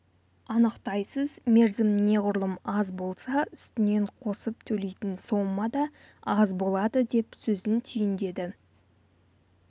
анықтайсыз мерзім неғұрлым аз болса үстінен қосып төлейтін сома да аз болады деп сөзін түйіндеді